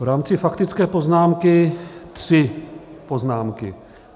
V rámci faktické poznámky tři poznámky.